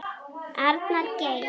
Arnar Geir.